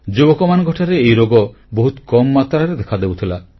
ଯୁବକମାନଙ୍କଠାରେ ଏହି ରୋଗ ବହୁତ କମ୍ ମାତ୍ରାରେ ଦେଖାଦେଉଥିଲା